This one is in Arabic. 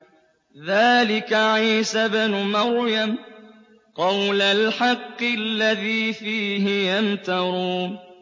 ذَٰلِكَ عِيسَى ابْنُ مَرْيَمَ ۚ قَوْلَ الْحَقِّ الَّذِي فِيهِ يَمْتَرُونَ